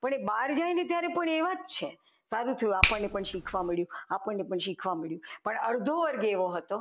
પણ એ બહાર ગઈ ને ત્યારે પણ એવા જ છે સારું થયું આપણને પણ શીખવા મળ્યું આપણને પણ શીખવા મળ્યું પણ અડધો વર્ગ એવો હતો